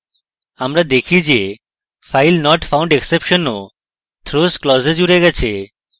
আমরা দেখি যে filenotfoundexception ও throws clause we জুড়ে গেছে